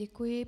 Děkuji.